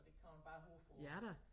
Så det kan man bare håbe på